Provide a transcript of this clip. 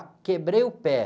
Quebrei o pé.